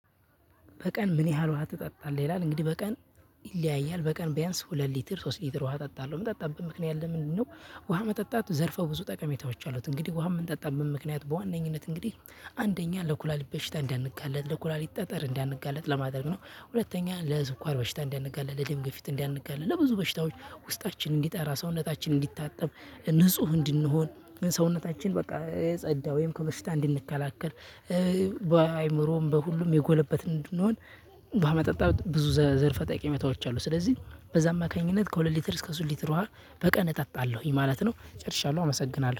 በቀን ምን ያህል ውሃ ትጠጣለህ? ይላል እንግዲህ በቀን ይለያያል። በቀን ቢያንስ ሁለት ሊትር ሶስት ሊትር ውሃ ጠጣለሁ የምጠጣበት ምክንያት ለምንድነው? ውሃ መጠጣት ዘርፈ በዙ ጠቀሜታዎች አሉት እንግዲህ ውሃ የምንጠጣበት ምክንያት በዋነኝነት እንግዲህ አንደኛ ለኩላሊት በሽታ እንዳንጋለጥ ለኩላሊት ጠጠር እንዳንጋለጥ ለማድረግ ነው። ሁለተኛ ለስኳር በሽታ እንዳንጋለጥ ለደም ገፊት እንዳንጋለጥ ለብዙ በሽታዎች ውስጣችን እንዲጠራ ሰውነታችን እንዲታጠብ ንጹህ እንድንሆን ሰውነታችን በቃ የጸዳ ወይም ከበሽታ እንድንከላከል። በአእምሮም በሁሉም የጎለበትን እንድንሆን። ውሃ መጠጣት ብዙ ዘንፈ ጠቀሜታዎች አሉ። ስለዚህ በዛ አማካኝነት ከሁለት ሊትር እስከ ሶስት ሊትር ውሃ በቀን እጠጣለሁኝ ማለት ነው። ጨርሻለሁ አመሰግናለሁ